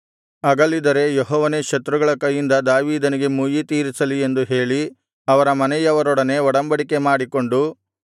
ಅಗಲಿದರೆ ಯೆಹೋವನೇ ಶತ್ರುಗಳ ಕೈಯಿಂದ ದಾವೀದನಿಗೆ ಮುಯ್ಯಿ ತೀರಿಸಲಿ ಎಂದು ಹೇಳಿ ಅವರ ಮನೆಯವರೊಡನೆ ಒಡಂಬಡಿಕೆ ಮಾಡಿಕೊಂಡು